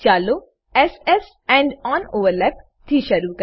ચાલો s S end on overlap થી શરુ કરીએ